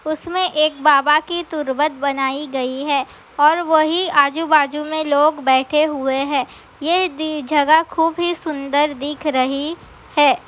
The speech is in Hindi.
उसमे एक बाबा की तुर्बत बनाई गयी है और वही आजु-बाजु में लोग बैठे हुए है ये दी-- जगह खूब ही सुन्दर दिख रही है।